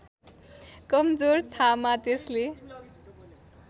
कमजोर थामा त्यसले